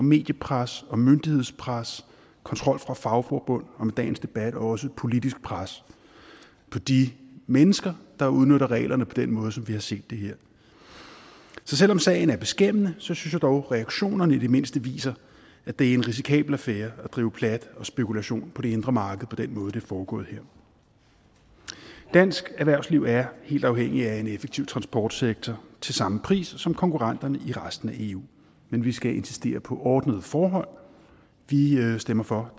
mediepres og myndighedspres kontrol fra fagforbund og med dagens debat også et politisk pres på de mennesker der udnytter reglerne på den måde som vi har set her så selv om sagen er beskæmmende synes jeg dog at reaktionerne i det mindste viser at det er en risikabel affære at drive plat og spekulation på det indre marked på den måde det er foregået her dansk erhvervsliv er helt afhængigt af en effektiv transportsektor til samme pris som konkurrenternes i resten af eu men vi skal insistere på ordnede forhold vi stemmer for